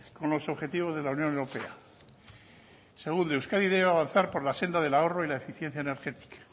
con los objetivos de la unión europea segundo euskadi debe avanzar por la senda del ahorro y la eficiencia energética